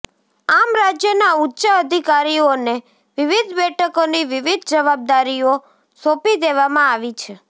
આમ રાજ્યના ઉચ્ચ અધિકારીઓને વિવિધ બેઠકોની વિવિધ જવાબદારીઓ સોંપી દેવામાં આવી છે